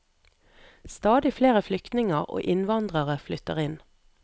Stadig flere flyktninger og innvandrere flytter inn.